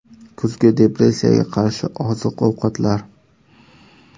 Kuzgi depressiyaga qarshi oziq-ovqatlar.